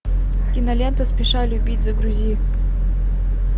кинолента спеша любить загрузи